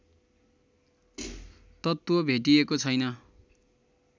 तत्त्व भेटिएको छैन